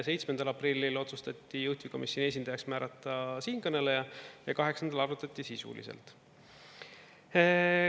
7. aprillil otsustati juhtivkomisjoni esindajaks määrata siinkõneleja ja 8-ndal arutati sisuliselt.